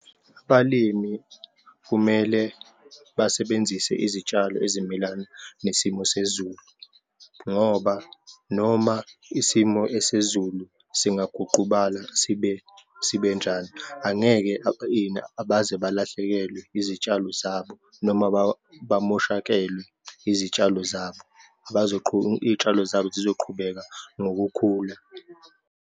Abalimi kumele basebenzise izitshalo ezimelana nesimo sezulu, ngoba noma isimo esezulu singaguqubala sibe sibenjani, angeke baze balahlekelwe izitshalo zabo noma bamoshakelwe izitshalo zabo, iy'tshalo zabo zizoqhubeka ngokukhula.